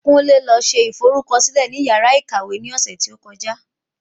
Kunle lọ se ìforúkọsílẹ ní yàrá ìkàwé ní ọ̀sẹ̀ tó kọjá